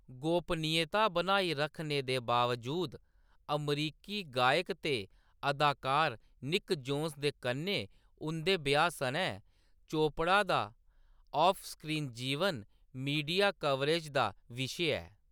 गोपनीयता बनाई रखने दे बावजूद, अमरीकी गायक ते अदाकार निक जोनस दे कन्नै उंʼदे ब्याह्‌‌ सनै, चोपड़ा दा ऑफ-स्क्रीन जीवन मीडिया कवरेज दा विशे ऐ।